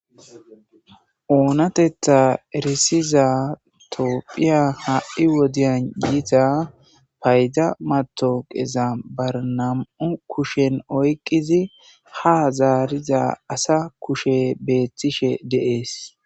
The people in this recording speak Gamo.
Oonatetta erisiza toophiya ha'i wodiyan yiita payda matoqeza barnam7u kushen oykqizi ha zaariza asa kushe beethtishe deees.